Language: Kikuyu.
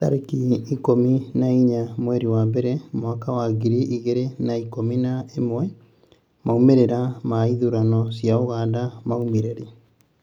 tarĩki ikũmi na inya mweri wa mbere mwaka wa ngiri igĩrĩ na ikũmi na ĩmwemaumĩrĩra ma ithurano cia Uganda maumire rĩ?